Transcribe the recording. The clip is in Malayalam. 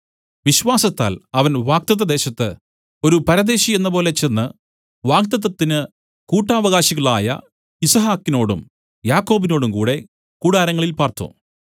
വിശ്വാസത്താൽ അവൻ വാഗ്ദത്തദേശത്ത് ഒരു പരദേശി എന്നപോലെ ചെന്ന് വാഗ്ദത്തത്തിന് കൂട്ടവകാശികളായ യിസ്ഹാക്കിനോടും യാക്കോബിനോടും കൂടെ കൂടാരങ്ങളിൽ പാർത്തു